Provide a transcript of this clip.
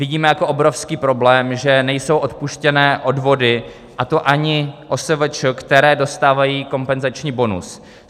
Vidíme jako obrovský problém, že nejsou odpuštěné odvody, a to ani OSVČ, které dostávají kompenzační bonus.